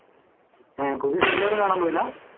ഏർ പുതിയ സിനിമ ഒന്നും കാണാൻ പോയില്ല